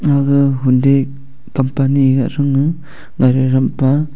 aga hyundai company rah thang a ngai rah ram pa.